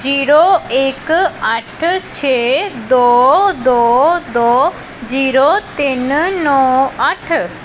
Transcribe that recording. Zero ਇੱਕ ਅੱਠ ਛੇ ਦੋ ਦੋ ਦੋ ਜ਼ੀਰੋ ਤਿੰਨ ਨੋਂ ਅੱਠ।